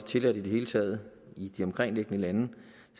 tilladt i det hele taget i de omkringliggende lande